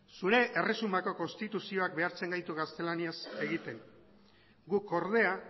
zure erresumako konstituzioak behartzen gaitu gaztelaniaz egiten guk ordea